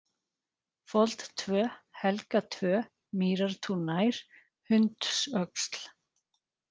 Fold 2, Helga 2, Mýrartún nær, Hundsöxl